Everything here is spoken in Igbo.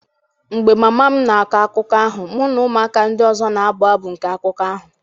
mgbe mama m na-akọ akụkọ ahụ, mụ na ụmụaka ndị ọzọ na-abụ abụ nke akụkọ ahụ.